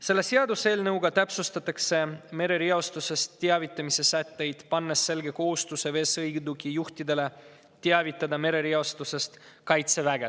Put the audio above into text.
Selle seaduseelnõuga täpsustatakse merereostusest teavitamise sätteid, pannes veesõidukijuhtidele selge kohustuse teavitada merereostusest Kaitseväge.